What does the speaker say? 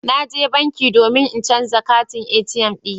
Na je banki domin in canza katin ATM dina.